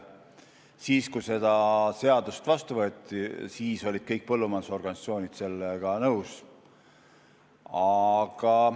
Siis, kui seda seadust vastu võeti, olid kõik põllumajandusorganisatsioonid sellega nõus.